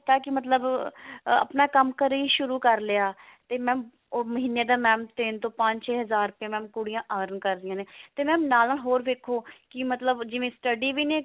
ਕੀ ਹੈ ਮਤਲਬ ah ਆਪਣਾ ਕੰਮ ਘਰੇ ਹੀ ਸ਼ੁਰੂ ਕਰ ਲਿਆ ਤੇ mam ਉਹ ਮਹੀਨੇ ਦਾ mam ਤਿੰਨ ਤੋਂ ਪੰਜ ਛੇ ਹਜ਼ਾਰ ਰੁਪਏ mam ਕੁੜੀਆਂ earn ਕਰਦੀਆਂ ਨੇ ਤੇ mam ਨਾਲ ਨਾਲ ਹੋਰ ਦੇਖੋ ਕੀ ਮਤਲਬ ਜਿਵੇਂ study ਵੀ ਨੀ